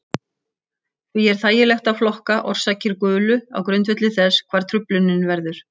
Því er þægilegt að flokka orsakir gulu á grundvelli þess hvar truflunin verður.